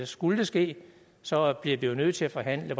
skulle det ske så bliver vi jo nødt til at forhandle